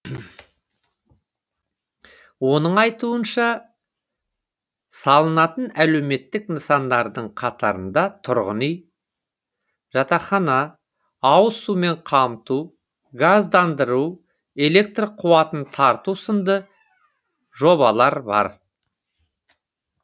оның айтуынша салынатын әлеуметтік нысандардың қатарында тұрғын үй жатақхана ауыз сумен қамту газдандыру электр қуатын тарту сынды жоблалар бар